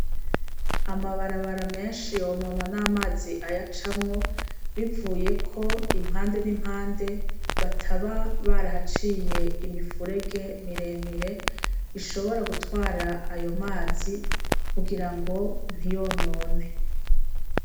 Amabarabara menshi yonona n'amazi aya camwo bivuye ko impande n'impande bataba barahaciye imifurege miremire ishobora gutwara ayo mazi kugira ngo ntiyonone.